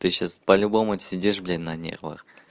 ты сейчас по-любому сидишь блин на нервах